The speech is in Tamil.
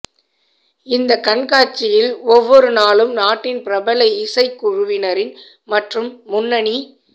இந்த கண்காட்சியில் ஒவ்வெரு நாளும் நாட்டின் பிரபல இசைக்குழுவினரின் மற்றும் முன்னனி